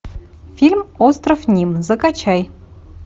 фильм остров ним закачай